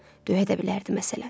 Döyə də bilərdi məsələn.